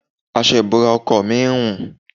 Aṣọ ìbora ọkọ mi ń rùn.